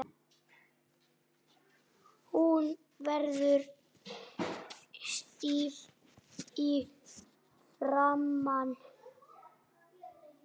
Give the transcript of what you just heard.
Hún verður stíf í framan.